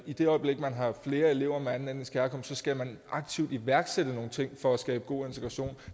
i det øjeblik man har flere elever med anden etnisk herkomst skal man aktivt iværksætte nogle ting for at skabe god integration